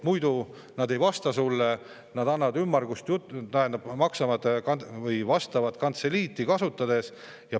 Muidu nad ei vasta sulle või tegelikult ajavad ümmargust juttu, vastavad kantseliiti kasutades.